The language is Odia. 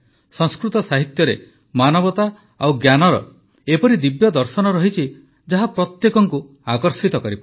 ସଂସ୍କୃତ ସାହିତ୍ୟରେ ମାନବତା ଓ ଜ୍ଞାନର ଏପରି ଦିବ୍ୟ ଦର୍ଶନ ରହିଛି ଯାହା ପ୍ରତ୍ୟେକଙ୍କୁ ଆକର୍ଷିତ କରିପାରେ